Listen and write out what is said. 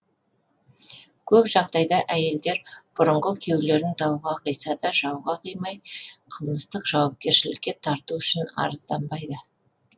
көп жағдайда әйелдер бұрынғы күйеулерін дауға қиса да жауға қимай қылмыстық жауапкершілікке тарту үшін арызданбайды